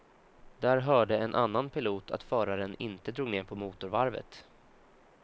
Där hörde en annan pilot att föraren inte drog ner på motorvarvet.